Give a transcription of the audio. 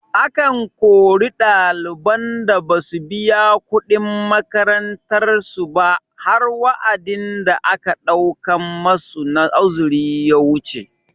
Akan kori ɗaliban da basu biya kuɗin makarantar su ba har wa'adin da aka ɗaukan masu na uzuri ya wuce